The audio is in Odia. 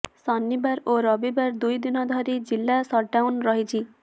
ଶନିବାର ଓ ରବିବାର ଦୁଇଦିନ ଧରି ଜିଲ୍ଲା ସଟଡାଉନ ରହିଛି